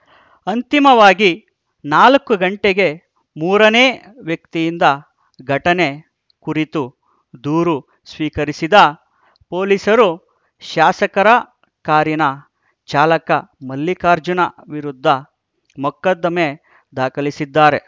ಅಂತಿಮವಾಗಿ ನಾಲ್ಕು ಗಂಟೆಗೆ ಮೂರನೇ ವ್ಯಕ್ತಿಯಿಂದ ಘಟನೆ ಕುರಿತು ದೂರು ಸ್ವೀಕರಿಸಿದ ಪೊಲೀಸರು ಶಾಸಕರ ಕಾರಿನ ಚಾಲಕ ಮಲ್ಲಿಕಾರ್ಜುನ ವಿರುದ್ಧ ಮೊಕದ್ದಮೆ ದಾಖಲಿಸಿದ್ದಾರೆ